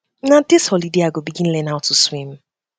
na um dis holiday i go begin um learn how to swim